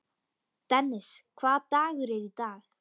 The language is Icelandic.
Dennis, hvaða dagur er í dag?